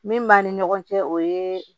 Min b'an ni ɲɔgɔn cɛ o ye